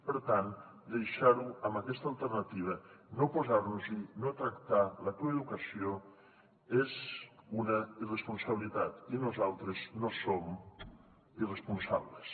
per tant deixar ho a aquesta alternativa no posar nos hi no tractar la coeducació és una irresponsabilitat i nosaltres no som irresponsables